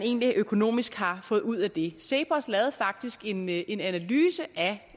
økonomisk har fået ud af det cepos lavede faktisk en en analyse af